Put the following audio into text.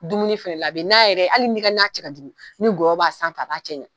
Dumuni fɛnɛ , a bi na yɛrɛ hali ni ka na cɛ ka jugu ni gɔyɔ b'a sanfɛ, a b'a cɛ ɲa.